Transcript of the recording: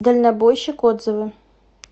дальнобойщик отзывы